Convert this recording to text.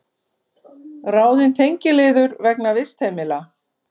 Ráðin tengiliður vegna vistheimila